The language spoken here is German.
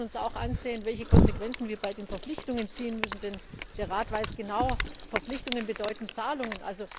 Wir müssen uns auch ansehen, welche Konsequenzen wir bei den Verpflichtungen ziehen müssen, denn der Rat weiß genau Verpflichtungen bedeuten Zahlungen.